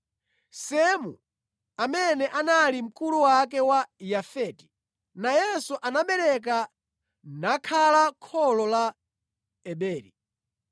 Semu amene anali mkulu wake wa Yafeti nayenso anabereka nakhala kholo la Eberi.